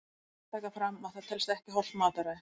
Rétt er að taka fram að það telst ekki hollt mataræði!